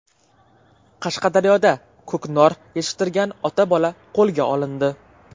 Qashqadaryoda ko‘knor yetishtirgan ota-bola qo‘lga olindi.